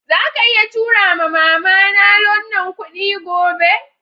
Zaka iya tura ma'mama na wannan kudi gobe?